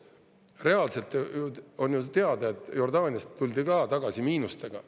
Reaalselt on ju teada, et Jordaaniast tuldi ka tagasi miinustega.